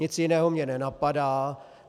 Nic jiného mě nenapadá.